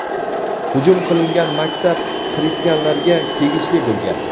hujum qilingan maktab xristianlarga tegishli bo‘lgan.